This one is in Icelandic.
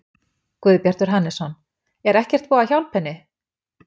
Guðbjartur Hannesson: Er ekkert búið að hjálpa henni?